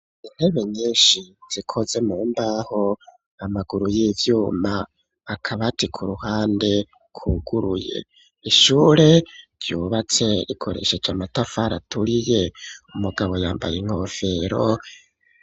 Intebe nyinshi zikoze mu mbaho amaguru y'ivyuma, akabati ku ruhande kuguruye ,ishure ryubatse rikoresheje amatafaraturiye, umugabo yambaye inkofero.